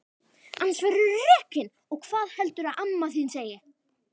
Annars verðurðu rekinn og hvað heldurðu að amma þín segi!